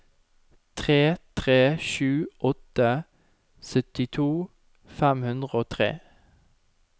tre tre sju åtte syttito fem hundre og tre